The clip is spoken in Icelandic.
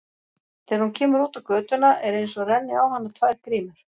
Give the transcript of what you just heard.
Þegar hún kemur út á götuna er einsog renni á hana tvær grímur.